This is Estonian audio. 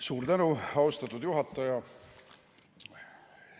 Suur tänu, austatud juhataja!